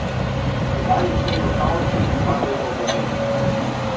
Tedaj je snel rokavčke in padel v bazen.